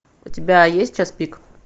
у тебя есть час пик